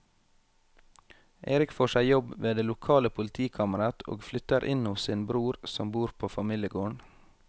Erik får seg jobb ved det lokale politikammeret og flytter inn hos sin bror som bor på familiegården.